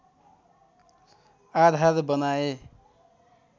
आधार बनाए